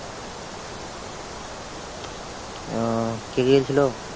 ওহ কে কে খেলছিল?